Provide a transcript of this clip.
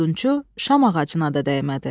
Odunçu şam ağacına da dəymədi.